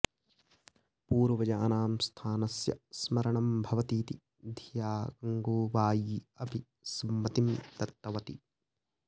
पूर्वजानां स्थानस्य स्मरणं भवति इति धिया गङ्गूबायी अपि सम्मतिं दत्तवती